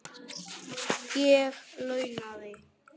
Ég launaði